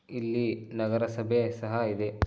ಇಲ್ಲಿ ನಗರ ಸಭೆ ಸಹ ಇದೆ.